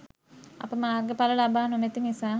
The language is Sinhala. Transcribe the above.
අප මාර්ග ඵල ලබා නොමැති නිසා